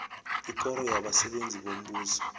ikoro yabasebenzi bombuso